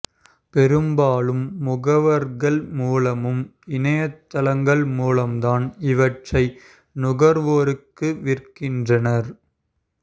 பெரும்பாலும் முகவர்கள் மூலமும் இணையதளங்கள் மூலமும்தான் இவற்றை நுகர்வோருக்கு விற்கின்றனர்